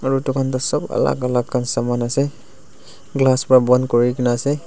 aru dukan tu sab alag alag khan saman ase glass para bond kuri ke na ase.